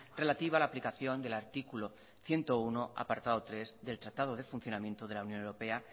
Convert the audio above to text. relativa a la aplicación del artículo ciento uno apartado tres del tratado del funcionamiento de la unión europea